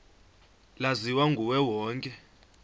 laziwa nguye wonke